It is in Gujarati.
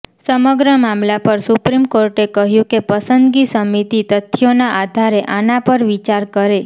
સમગ્ર મામલા પર સુપ્રીમ કોર્ટે કહ્યું કે પસંદગી સમિતિ તથ્યોના આધારે આના પર વિચાર કરે